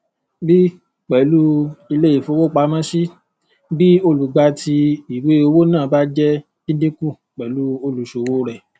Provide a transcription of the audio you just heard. b pẹlú ilé ìfowópamọsí tí olùgbà tí ìwé owó náà bá jẹ dídíkùn pẹlú olùṣowóo rẹ